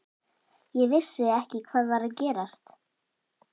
Ég vissi ekki hvað var að gerast.